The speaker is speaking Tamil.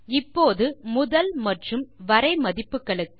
இப்போது முதல் மற்றும் வரை மதிப்புகளுக்கு